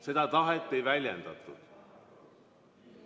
Seda tahet ei väljendatud.